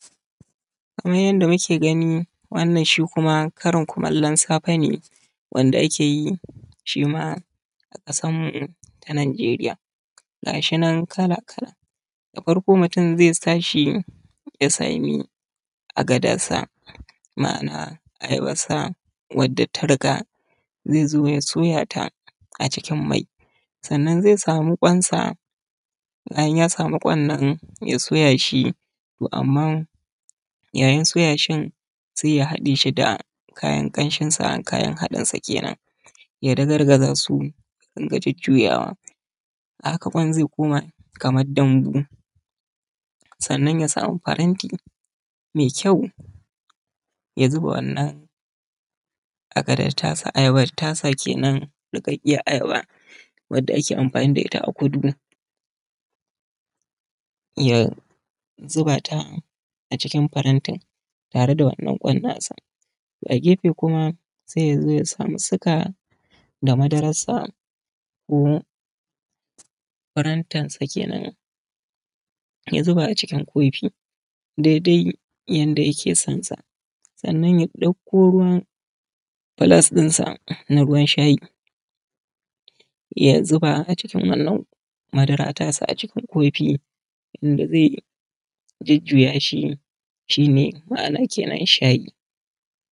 Kamar yadda muke kallo shi ma wannan wani nau’in Karin kumallo ne a nan Najeriya muna da karin kumallo har kala-kala uku idan muka tashi da safe. Sai samo ayabansa ya sa haɗe da kayanmiya, doya wani muhimmin abin amfanin gona ne daga rukunin masu tsiro a ƙasa wanda ake nomawa a yawancin yankuna masu zafi. aikin gona aikin jarumi ne muna ta kokari muna shirya gona kafin muyi shuka wannan abu ban a rago bane ba yana bukatan jajircewa domin aiki ne mai wahala za mu tsaya mu babbaza cikin gona, mu gyara shi mu sarrafa mu fitar da kunya yadda za mu ji dadin shuka. Hakika noma sana’a ce mai riba sai dai kuma malalaci ba zai iya ta ba domin tana bukatan isasshen lokaci sannan kuma tana bukatar a yi amfani da karfi, wasu suna amfani da manya motocin nan da suke taya su sai ya jujjuya shi ma’ana kenan shayi.